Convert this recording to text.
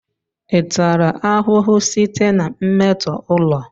Ị tara ahụhụ site na mmetọ ụlọ?